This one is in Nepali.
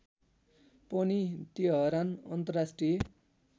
पनि तेहरान अन्तर्राष्ट्रिय